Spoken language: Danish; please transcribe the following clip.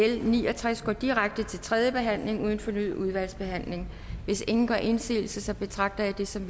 l ni og tres går direkte til tredje behandling uden fornyet udvalgsbehandling hvis ingen gør indsigelse betragter jeg det som